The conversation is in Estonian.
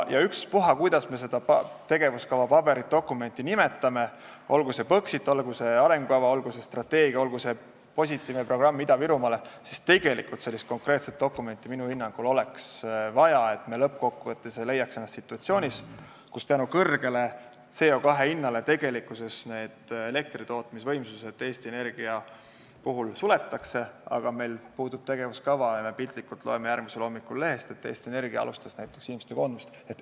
Ükspuha, kuidas me seda tegevuskavapaberit või dokumenti nimetame, olgu see Põxit, olgu see arengukava, olgu see strateegia, olgu see positiivne programm Ida-Virumaale, tegelikult oleks sellist konkreetset dokumenti minu hinnangul vaja, et me lõppkokkuvõttes ei leiaks ennast situatsioonist, kus CO2 kõrge hinna tõttu Eesti Energia elektritootmisvõimsused suletakse, aga meil puudub tegevuskava ja me piltlikult öeldes loeme järgmisel hommikul lehest, et Eesti Energia alustas näiteks inimeste koondamist.